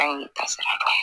An y'u ta sara